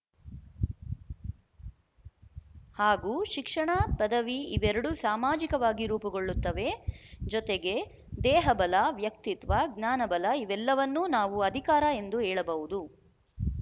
ಹಾಗೂ ಶಿಕ್ಷಣ ಪದವಿ ಇವೆರಡೂ ಸಾಮಾಜಿಕವಾಗಿ ರೂಪುಗೊಳ್ಳುತ್ತವೆ ಜೊತೆಗೆ ದೇಹಬಲ ವ್ಯಕ್ತಿತ್ವ ಜ್ಞಾನಬಲ ಇವೆಲ್ಲವನ್ನೂ ನಾವು ಅಧಿಕಾರ ಎಂದು ಹೇಳಬಹುದು